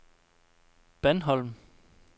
Bandholm